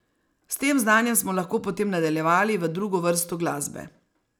S tem znanjem smo lahko potem nadaljevali v drugo vrsto glasbe.